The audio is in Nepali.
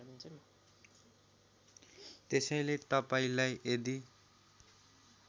त्यसैले तपाईँलाई यदि